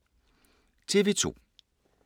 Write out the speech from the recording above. TV 2